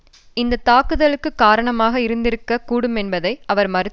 இந்த தாக்குதலுக்கு காரணமாக இருந்திருக்க கூடுமென்பதை அவர் மறுத்தார் அரபு